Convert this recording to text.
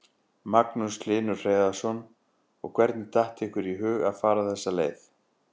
Magnús Hlynur Hreiðarsson: Og hvernig datt ykkur í hug að fara þessa leið?